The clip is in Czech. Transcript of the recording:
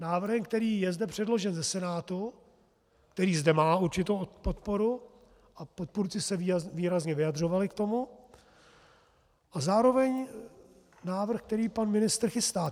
Návrhem, který je zde předložen ze Senátu, který zde má určitou podporu, a podpůrci se výrazně vyjadřovali k tomu, a zároveň návrh, který pan ministr chystá.